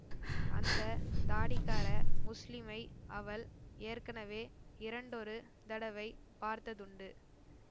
அந்த தாடிக்கார முஸ்லிமை அவள் ஏற்கெனவே இரண்டொரு தடவை பார்த்ததுண்டு